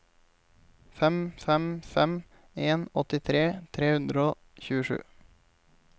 fem fem fem en åttitre tre hundre og tjuesju